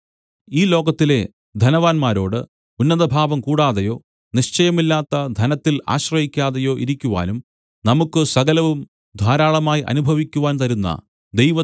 ഈ ലോകത്തിലെ ധനവാന്മാരോട് ഉന്നതഭാവം കൂടാതെയോ നിശ്ചയമില്ലാത്ത ധനത്തിൽ ആശ്രയിക്കാതെയോ ഇരിക്കുവാനും നമുക്ക് സകലവും ധാരാളമായി അനുഭവിക്കുവാൻ തരുന്ന ദൈവത്തിൽ